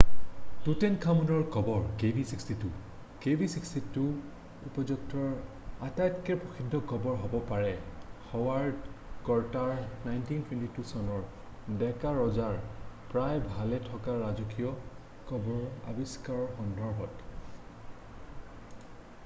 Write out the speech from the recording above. তুতেনখামুনৰ কবৰ kv62। kv62 উপত্যকাটোৰ আটাইতকৈ প্ৰসিদ্ধ কবৰ হব পাৰে হাৱাৰ্ড কৰ্তাৰৰ 1922 চনৰ ডেকাৰজাৰ প্ৰায় ভালে থকা ৰাজকীয় কবৰৰ আবিষ্কাৰৰ সন্দৰ্ভত ।